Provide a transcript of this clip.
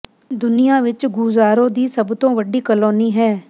ਦੁਨੀਆਂ ਵਿਚ ਗੂਜਾਰੋ ਦੀ ਸਭ ਤੋਂ ਵੱਡੀ ਕਲੋਨੀ ਹੈ